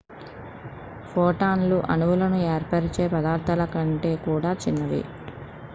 ఫోటాన్లు అణువులను ఏర్పరచే పదార్థాల కంటే కూడా చిన్నవి